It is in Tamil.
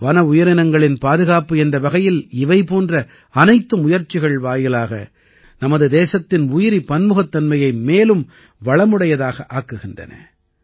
வன உயிரினங்களின் பாதுகாப்பு என்ற வகையில் இவை போன்ற அனைத்து முயற்சிகள் வாயிலாக நமது தேசத்தின் உயிரி பன்முகத்தன்மையை மேலும் வளமுடையதாக ஆக்குகின்றன